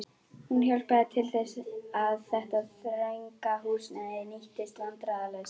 Hún hjálpaði til þess, að þetta þrönga húsnæði nýttist vandræðalaust.